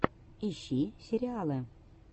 ищи сериалы